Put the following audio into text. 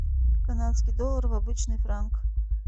канадский доллар в обычный франк